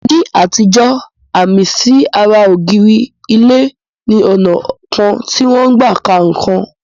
Ní àtijọ́, àmì sí ara ògiri ilé ni ọnà kan tí wọ́n n gbà ka nǹkan.